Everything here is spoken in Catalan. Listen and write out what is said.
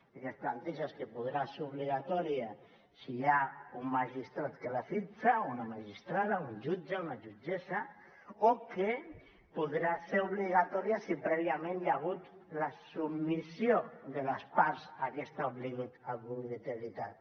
el que es planteja és que podrà ser obligatòria si hi ha un magistrat que la fixa o una magistrada un jutge una jutgessa o que podrà ser obligatòria si prèviament hi ha hagut la submissió de les parts a aquesta obligatorietat